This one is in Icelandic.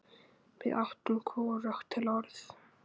Við áttum hvorugt til orð.